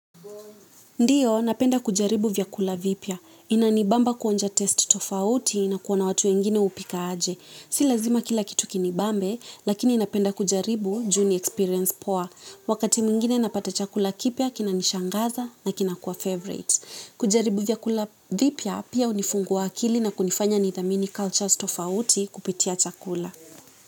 Ndiyo, napenda kujaribu vyakula vipya. Inanibamba kuonja test tofauti na kuona watu wengine upika aje. Si lazima kila kitu kinibambe lakini napenda kujaribu juu ni experience poa wakati mwingine napata chakula kipya, kina nishangaza na kina kuwa favorite. Kujaribu vyakula vipya, pia unifungua akili na kunifanya nithamini cultures tofauti kupitia chakula.